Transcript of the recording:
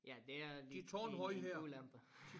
Ja det er en en ulempe